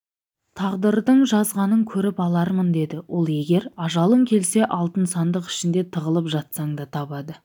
тағдырдың жазғанын көріп алармын деді ол егер ажалың келсе алтын сандық ішінде тығылып жатсаң да табады